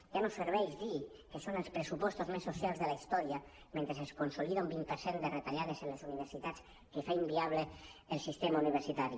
ja no serveix dir que són els pressupostos més socials de la història mentre es con·solida un vint per cent de retallades en les universitats que fa inviable el sistema uni·versitari